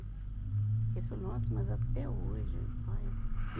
Eles falam, nossa, mas até hoje. Olha e